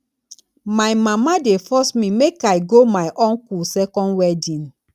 my mama dey force me make i go my uncle second wedding